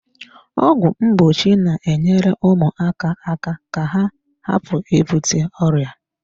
Ọgwụ mgbochi na-enyere ụmụaka aka ka ha hapụ ibute ọrịa.